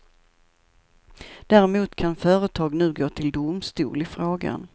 Däremot kan företag nu gå till domstol i frågan.